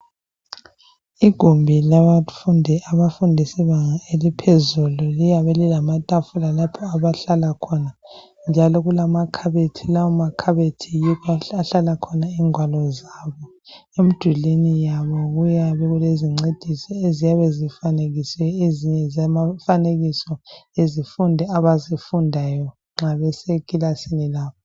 Igumbi labafundi abafunda ibanga eliphezulu liyabe lilamatsfula lapho abahlala khona. Njalo kuyabe kulamakhabethi, lawo makhabethi yikho lapho okuhlala khona ingwalo zabo. Emdulini yabo kuyabe kulezincedisi eziyabe zifanekisiwe. Ezinye ngezemifanekiso abazifundayo nxa besekilasini yabo.